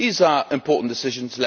These are important decisions.